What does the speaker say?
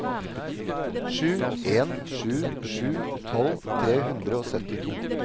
sju en sju sju tolv tre hundre og syttito